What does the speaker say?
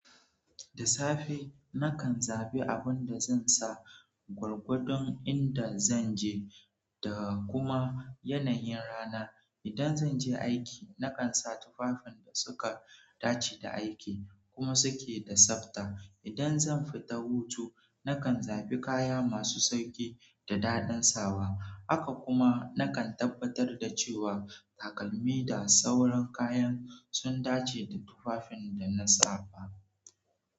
Da safe, nakan zaɓi abin da zan sa gwargwadon inda zan je da kuma yanayin rana. Idan zan je aiki, nakan sa tufafin da suka dace da aiki kuma suke da tsabta. Idan zan fita hutu, nakan zabi kaya masu sauƙi da daɗin sawa. Haka kuma, nakan tabbatar da cewa takalmi da sauran kayan sun dace da tufafin da na sa.